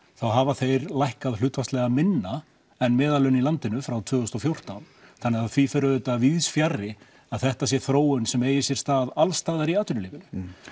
hafa þeir lækkað hlutfallslega minna en meðallaun í landinu frá tvö þúsund og fjórtán þannig að því fer auðvitað víðsfjarri að þetta sé þróun sem eigi sér stað alls staðar í atvinnulífinu